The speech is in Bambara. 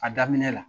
A daminɛ la